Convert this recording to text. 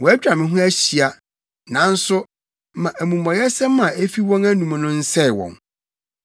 Wɔatwa me ho ahyia, nanso, ma amumɔyɛsɛm a efi wɔn anom no nsɛe wɔn.